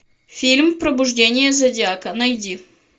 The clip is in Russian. фильм пробуждение зодиака найди